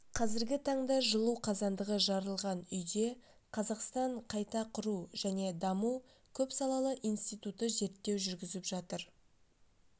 қазіргі таңда жылу қазандығы жарылған үйде қазақстан қайта құру және даму көпсалалы институты зерттеу жүргізіп жатыр